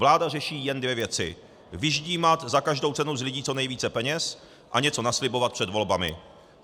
Vláda řeší jen dvě věci: vyždímat za každou cenu z lidí co nejvíce peněz a něco naslibovat před volbami.